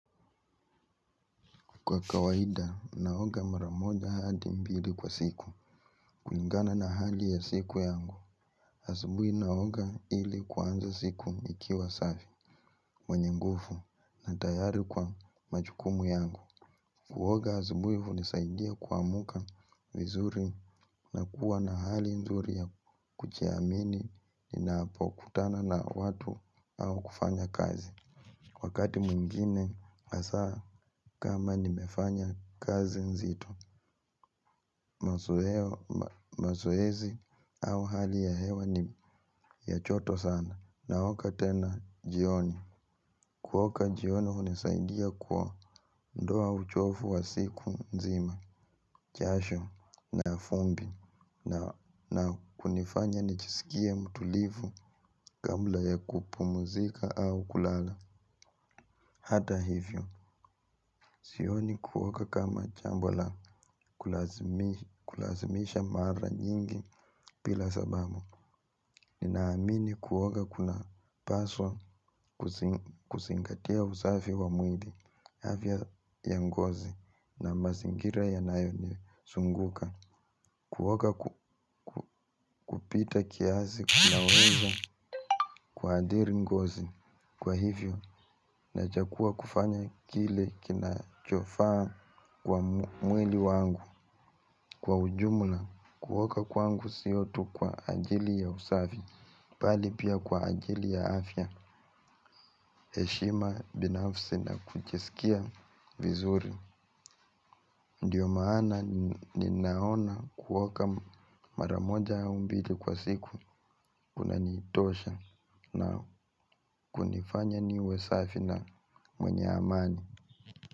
Kwa kawaida, naoga mara moja hadi mbili kwa siku. Kulingana na hali ya siku yangu. Asubuhi napga ili kuanza siku nikiwa safi. Mwenye nguvu na tayari kwa majukumu yangu. Kuoga asubuhi hunisaidia kuamka vizuri na kuwa na hali nzuri ya kujiamini ninapo kutana na watu au kufanya kazi. Wakati mwingine, hasa kama nimefanya kazi nzito. Mazoezi au hali ya hewa ni ya joto sana. Naoga tena jioni. Kuoga jioni hunisaidia kuondoa uchovu wa siku nzima jasho na vumbi. Na kunifanya nijisikie mtulivu kabla ya kupumzika au kulala hata hivyo sioni kuoga kama jambo la kulazimisha mara nyingi bila sababu, ninaamini kuoga kunapaswa kuzingatia usafi wa mwili, afya ya ngozi na mazingira yanayo nizunguka. Kuoga kupita kiasi kunaweza kuathiri ngozi. Kwa hivyo, nachagua kufanya kile kinachofaa kwa mwili wangu, kwa ujumula. Kuoga kwangu sio tu kwa ajili ya usafi bali pia kwa ajili ya afya heshima binafsi na kujisikia vizuri ndiyo maana ninaona kuoga mara moja au mbili kwa siku kunanitosha na kunifanya niwe safi na mwenye amani.